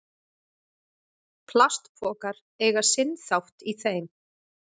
Plastpokar eiga sinn þátt í þeim.